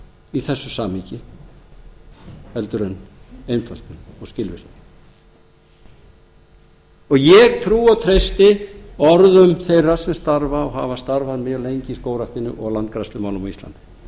í þessu samhengi heldur en einföldun og skilvirkni ég trúi og treysti orðum þeirra sem starfa og hafa starfað mjög lengi í skógræktin og landgræðslumálum á íslandi og ég g